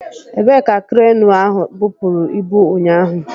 Ebee ka kreenu ahụ bupụrụ ibu ụnyaahụ?